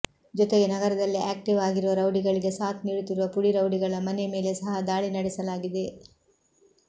ಜೊತೆಗೆ ನಗರದಲ್ಲಿ ಆಕ್ಟಿವ್ ಆಗಿರುವ ರೌಡಿಗಳಿಗೆ ಸಾಥ್ ನೀಡುತ್ತಿರುವ ಪುಡಿ ರೌಡಿಗಳ ಮನೆ ಮೇಲೆ ಸಹ ದಾಳಿ ನಡೆಸಲಾಗಿದೆ